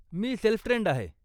मी self trained आहे.